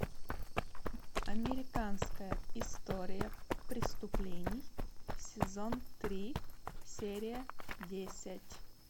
американская история преступлений сезон три серия десять